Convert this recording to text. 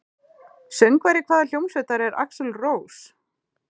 Söngvari hvaða hljómsveitar er Axl Rose?